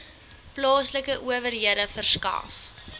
plaaslike owerhede verskaf